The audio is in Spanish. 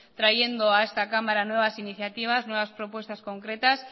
trayendo a esta cámara nuevas iniciativas nuevas propuestas concretas